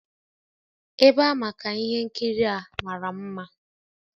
Ebe a maka ihe nkiri a mara mma